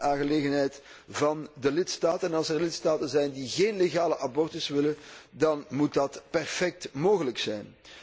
Dit is een aangelegenheid van de lidstaten, en als er lidstaten zijn die geen legale abortus willen, dan moet dat perfect mogelijk zijn.